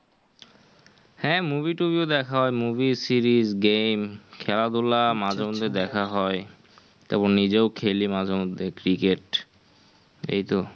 হ্যাঁ movie টুভিও দেখা হয় movie series game খেলাধুলা মাঝে মধ্যে দেখা হয়. তারপর নিজেও খেলি মাঝে মধ্যে cricket এই তো.